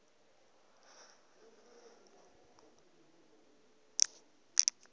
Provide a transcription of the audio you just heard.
la gagwe o ka re